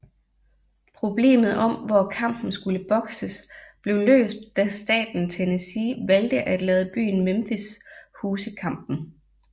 Problemet om hvor kampen skulle bokses blev løst da staten Tennessee valgte at lade byen Memphis huse kampen